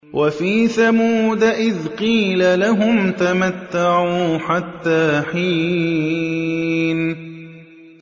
وَفِي ثَمُودَ إِذْ قِيلَ لَهُمْ تَمَتَّعُوا حَتَّىٰ حِينٍ